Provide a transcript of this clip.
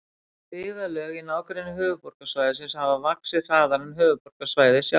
Byggðarlög í nágrenni höfuðborgarsvæðisins hafa vaxið hraðar en höfuðborgarsvæðið sjálft.